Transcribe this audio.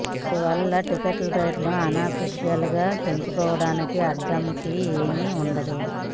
అందువల్ల టికెట్ రేట్లు అనఫిషయల్ గా పెంచుకోవడానిక అడ్డంకి ఏమీ వుండదు